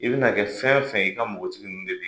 I bɛna kɛ fɛn fɛn i ka npogotigi ninnu de bi